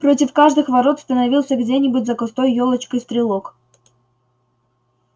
против каждых ворот становился где-нибудь за густой ёлочкой стрелок